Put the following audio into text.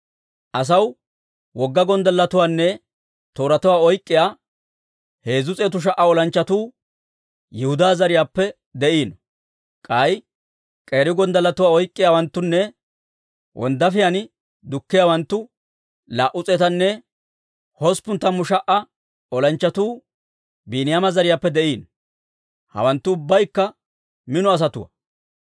Asaw wogga gonddalletuwaanne tooratuwaa oyk'k'iyaa 300,000 olanchchatuu Yihudaa zariyaappe de'iino; k'ay k'eeri gonddalletuwaa oyk'k'iyaawanttunne wonddaafiyaan dukkiyaawanttu laa"u s'eetanne hosppun tammu sha"a olanchchatuu Biiniyaama zariyaappe de'iino. Hawanttu ubbaykka mino asatuwaa.